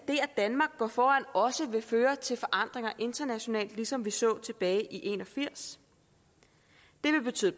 danmark går foran også vil føre til forandringer internationalt ligesom vi så tilbage i nitten en og firs det vil betyde